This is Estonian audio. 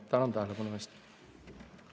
Tänan tähelepanu eest!